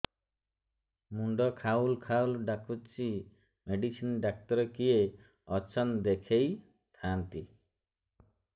ମୁଣ୍ଡ ଖାଉଲ୍ ଖାଉଲ୍ ଡାକୁଚି ମେଡିସିନ ଡାକ୍ତର କିଏ ଅଛନ୍ ଦେଖେଇ ଥାନ୍ତି